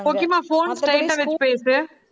கோக்கிமா phone straight ஆ வச்சு பேசு.